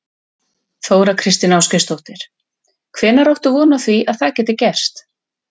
Þóra Kristín Ásgeirsdóttir: Hvenær áttu von á því að það geti gerst?